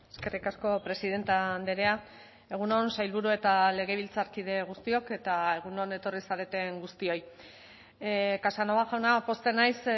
eskerrik asko presidente andrea egun on sailburu eta legebiltzarkide guztiok eta egun on etorri zareten guztioi casanova jauna pozten naiz